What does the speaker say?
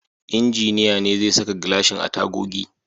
Injiniya ne zai saka gilashin a tagogi.